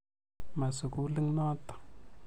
Ma sukulit notok.